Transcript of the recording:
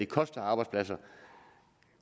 koster arbejdspladser